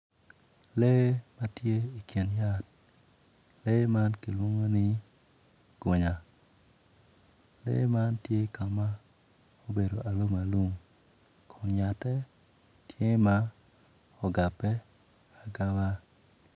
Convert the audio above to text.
Lee ma tye i kin yat lee man kilwongo ni gunya lee man tye ka ma obedo alum alum kun yatte tye ma ugabe agaba